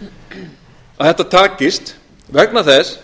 að þetta takist vegna þess